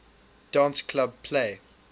dance club play